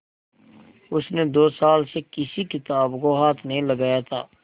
उसने दो साल से किसी किताब को हाथ नहीं लगाया था